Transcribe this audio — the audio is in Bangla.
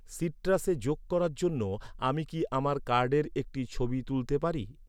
সিট্রাসে যোগ করার জন্য আমি কি আমার কার্ডের একটি ছবি তুলতে পারি?